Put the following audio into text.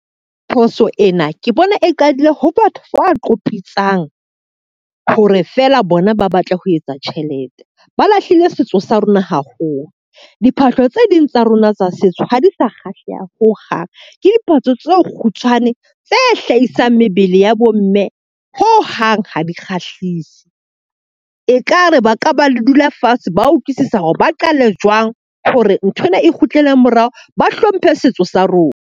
Phoso ena ke bona e qadile ha batho ba qopitsang hore feela bona ba batle ho etsa tjhelete. Ba lahlile setso sa rona haholo. Diphahlo tse ding tsa rona tsa setso ha di sa kgahleha ho hang. Ke diphahlo tse kgutshwane tse hlahisang mebele ya bo mme ho hang ha di kgahlise. E ka re ba ka ba le dula fatshe. Ba utlwisisa hore ba qale jwang hore nthwena e kgutlele morao, ba hlomphe setso sa rona.